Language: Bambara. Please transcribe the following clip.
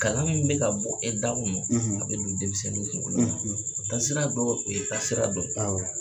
Kalan min bɛ ka bɔ e da kɔnɔ, , a bɛ don denmisɛnninw kungolo la, , taasira dɔ, o ye taasira dɔ ye.